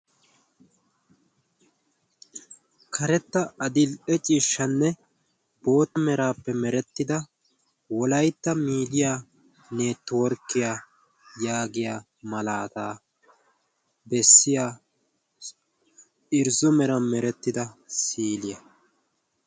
karetta adil"e ciishshanne boott meraappe merettida wolaytta miidiya neetworkkiyaa yaagiya malaataa bessiya irzzo mera merettida siliyaa